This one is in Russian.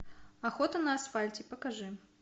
охота на асфальте покажи